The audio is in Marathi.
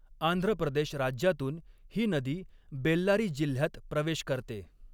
आंध्र प्रदेश राज्यातून ही नदी बेल्लारी जिल्ह्यात प्रवेश करते.